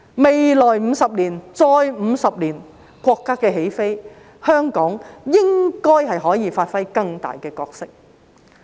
未來50年，再50年，國家起飛，香港應該可以發揮更大角色。